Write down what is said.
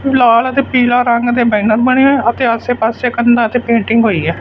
ਲਾਲ ਅਤੇ ਪੀਲਾ ਰੰਗ ਦੇ ਬੈਨਰ ਬਣੇ ਹੈਂ ਅਤੇ ਆਸੇ ਪਾੱਸੇ ਕੰਧਾ ਤੇ ਪੇਂਟਿੰਗ ਹੋਈ ਹੈ।